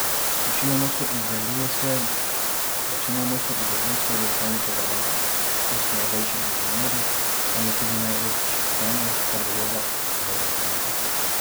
Večina moštev izdeluje svoje dirkalnike v Angliji, kjer so najboljši inženirji, tam je tudi največ znanja, kar zadeva aerodinamiko.